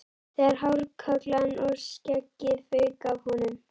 Þegar hárkollan og skeggið fauk af honum!